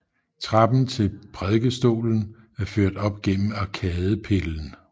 Trappen til prædikestolen er ført op gennem arkadepillen